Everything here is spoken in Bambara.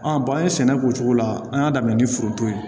an ye sɛnɛ k'o cogo la an y'a daminɛ ni foronto ye